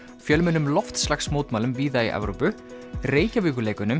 fjölmennum víða í Evrópu